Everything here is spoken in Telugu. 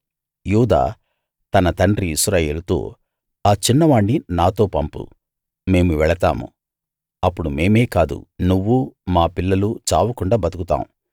యూదా తన తండ్రి ఇశ్రాయేలుతో ఆ చిన్నవాణ్ని నాతో పంపు మేము వెళతాము అప్పుడు మేమే కాదు నువ్వూ మా పిల్లలూ చావకుండా బతుకుతాం